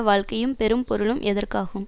வாழ்க்கையும் பெரும்பொருளும் எதற்கு ஆகும்